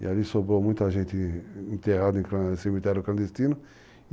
E ali sobrou muita gente enterrada em um cemitério clandestino.